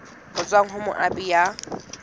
ho tswa ho moabi ya